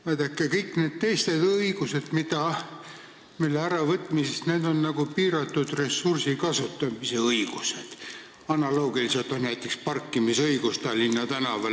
Vaadake, kõikide nende teiste õiguste äravõtmise puhul on tegu piiratud ressursi kasutamise õigustega, analoogiliselt näiteks parkimisõigusega Tallinna tänavatel.